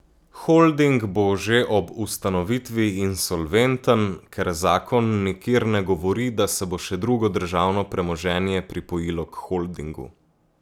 Holding bo že ob ustanovitvi insolventen, ker zakon nikjer ne govori, da se bo še drugo državno premoženje pripojilo k holdingu.